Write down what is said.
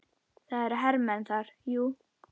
Það eru hermenn þar, jú.